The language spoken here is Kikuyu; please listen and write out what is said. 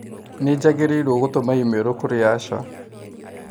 Nĩjagirĩiro gũtũma i-mīrū kũrĩ Asha.